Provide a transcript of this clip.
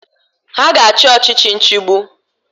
Ha ga-achị ọchichi nchigbu.